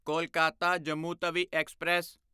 Kolkata Jammu Tawi express